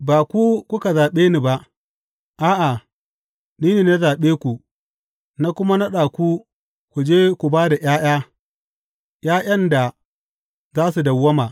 Ba ku kuka zaɓe ni ba, a’a, ni ne na zaɓe ku na kuma naɗa ku ku je ku ba da ’ya’ya ’ya’yan da za su dawwama.